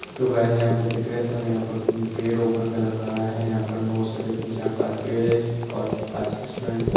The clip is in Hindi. सो गाइस यहाँ पर देख रहे है सब यहाँ पर पेड़ रोपण लग रहा है यहाँ पे बहुत सारे तिन चार पाच पेड़ है पोच पाच छे स्टूडेंट्स है ।